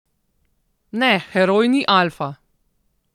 Ne, Heroj ni alfa.